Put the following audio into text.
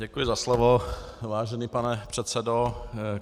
Děkuji za slovo, vážený pane předsedo.